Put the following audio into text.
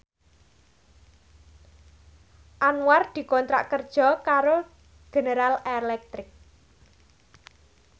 Anwar dikontrak kerja karo General Electric